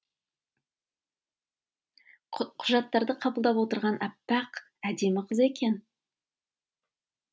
құжаттарды қабылдап отырған аппақ әдемі қыз екен